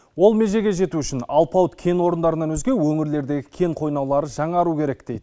ол межеге жету үшін алпауыт кен орындарынан өзге өңірлердегі кен қойнаулары жаңару керек дейді